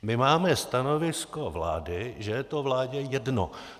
My máme stanovisko vlády, že je to vládě jedno.